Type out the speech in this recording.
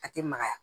A tɛ magaya